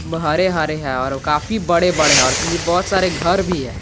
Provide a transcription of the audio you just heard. हरे हरे है और काफी बड़े बड़े है और पीछे बहौत सारे घर भी है।